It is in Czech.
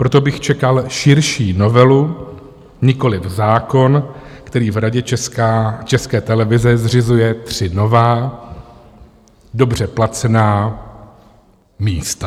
Proto bych čekal širší novelu, nikoliv zákon, který v Radě České televize zřizuje tři nová, dobře placená místa.